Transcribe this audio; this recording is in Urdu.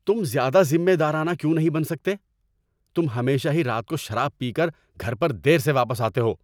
تم زیادہ ذمہ دارانہ کیوں نہیں بن سکتے؟ تم ہمیشہ ہی رات کو شراب پی کر گھر پر دیر سے واپس آتے ہو۔